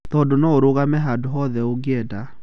Tondũ noũrũgame handũ o-hothe ũngĩenda.